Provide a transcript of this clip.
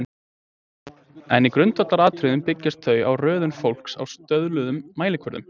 en í grundvallaratriðum byggjast þau á röðun fólks á stöðluðum mælikvörðum